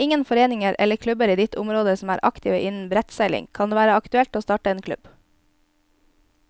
Er det ingen foreninger eller klubber i ditt område som er aktive innen brettseiling, kan det være aktuelt å starte en klubb.